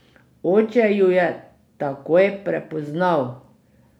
Oče ju je takoj prepoznal.